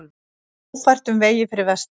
Ófært um vegi fyrir vestan